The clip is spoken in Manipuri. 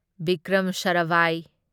ꯚꯤꯀ꯭ꯔꯝ ꯁꯥꯔꯥꯚꯥꯢ